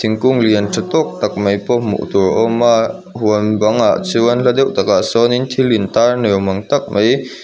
thingkung lian tha tawk tak mai pawh hmuh tur a awm a huan bangah chuan hla deuh takah sawn in thil in tar ni awm ang tak mai--